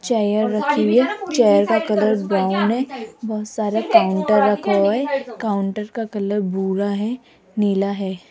Chair रखी हुई है चेयर का कलर ब्राउन है बहुत सारे काउंटर रखा हुआ है काउंटर का कलर भूरा है नीला है।